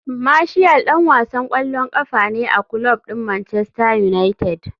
Martial dan wasan kwallon kafa ne a kulob din Manchester United.